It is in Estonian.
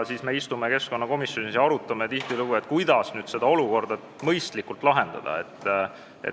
Siis me istume tihtilugu keskkonnakomisjonis koos ja arutame, kuidas seda olukorda mõistlikult lahendada.